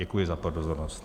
Děkuji za pozornost.